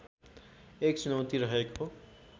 एक चुनौती रहेको